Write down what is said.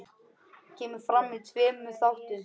Kemur fram í tveimur þáttum.